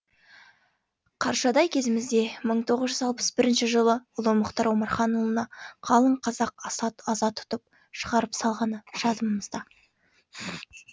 қаршадай кезімізде мың тоғыз жүз алпыс бірінші жылы ұлы мұхтар омарханұлына қалың қазақ аза тұтып шығарып салғаны жадымызда